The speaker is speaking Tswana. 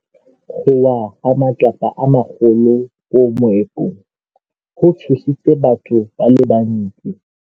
Go wa ga matlapa a magolo ko moepong go tshositse batho ba le bantsi.